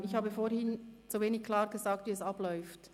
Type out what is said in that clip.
Ich habe vorhin zu wenig klar gesagt, wie es abläuft.